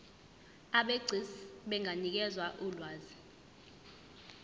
abegcis benganikeza ulwazi